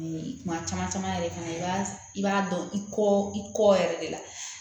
Kuma caman caman yɛrɛ fana i b'a i b'a dɔn i kɔ i kɔ yɛrɛ de la